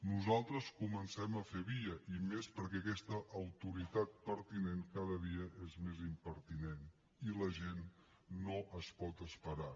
nosaltres comencem a fer via i més perquè aquesta autoritat pertinent cada dia és més impertinent i la gent no es pot esperar